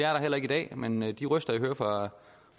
er der heller ikke i dag men de røster jeg hører fra